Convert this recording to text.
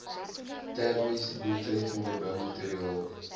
termies doeltreffende boumateriaal